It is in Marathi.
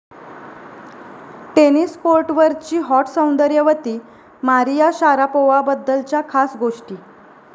टेनिस कोर्टवरची हॉट सौंदर्यवती मारिया शारापोव्हाबद्दलच्या खास गोष्टी